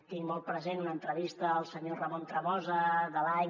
tinc molt present una entrevista al senyor ramon tremosa de l’any